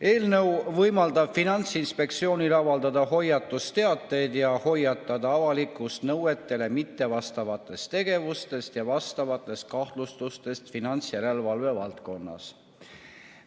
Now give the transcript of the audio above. Eelnõu võimaldab Finantsinspektsioonil avaldada hoiatusteateid ja hoiatada avalikkust nõuetele mittevastavatest tegevustest ja vastavatest kahtlustustest finantsjärelevalve valdkonnas.